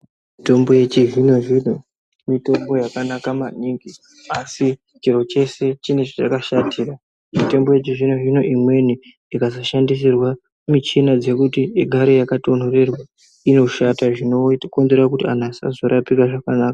Mitombo yechizvino zvino mitombo yakanaka maningi asi chiro chese chine chachakashatira, mitombo yechizvino zvino imweni ikazoshandisirwa michina yekuti igare yakatonhorerwa, inoshata zvinokumbira anhu asazvirapira zvakanaka.